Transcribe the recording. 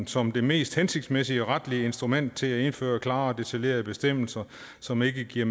som det mest hensigtsmæssige retlige instrument til at indføre klare og detaljerede bestemmelser som ikke giver